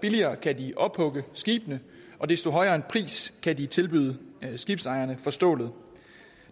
billigere kan de ophugge skibene og desto højere en pris kan de tilbyde skibsejerne for stålet